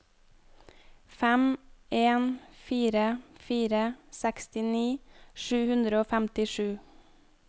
fem en fire fire sekstini sju hundre og femtisju